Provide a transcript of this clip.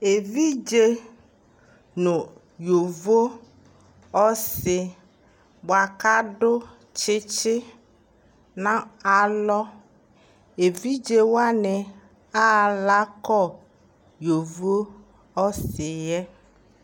Ɛvidze nu yovoƆsi bua kadu tsitsi na alɔƐvidze wani ala kɔ yovo ɔsi yɛ